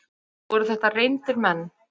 Voru þetta reyndir menn?